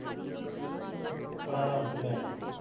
ਬੜਾ ਹਰਾਮੀ ਭੈਣ ਚੋ